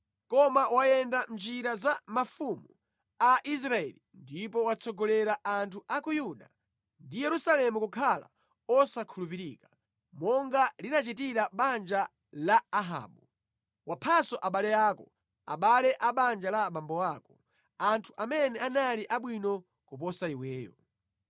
Koma wayenda mʼnjira za mafumu a Israeli ndipo watsogolera anthu a ku Yuda ndi Yerusalemu kukhala osakhulupirika, monga linachitira banja la Ahabu. Waphanso abale ako, abale a banja la abambo ako, anthu amene anali abwino kuposa iweyo.